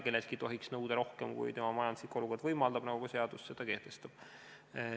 Kelleltki ei tohiks nõuda rohkem, kui tema majanduslik olukord võimaldab, nagu ka seadus seda kehtestab.